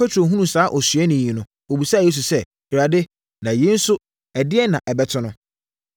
Petro hunuu saa osuani yi no, ɔbisaa Yesu sɛ, “Awurade, na yei nso ɛdeɛn na ɛbɛto no?”